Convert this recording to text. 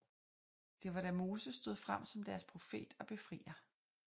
Det var da Moses stod frem som deres profet og befrier